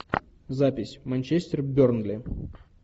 запись манчестер бернли